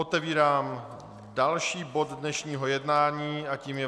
Otevírám další bod dnešního jednání a tím je